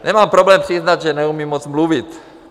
Nemám problém přiznat, že neumím moc mluvit.